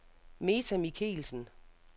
Meta Michelsen